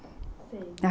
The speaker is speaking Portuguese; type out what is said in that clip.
sei